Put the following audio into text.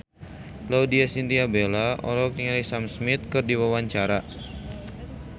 Laudya Chintya Bella olohok ningali Sam Smith keur diwawancara